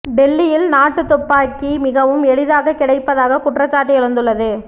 டெல்லியில் நாட்டுத் துப்பாக்கி மிகவும் எளிதாக கிடைப்பதாக குற்றச்சாட்டு எழுந்துள்ளது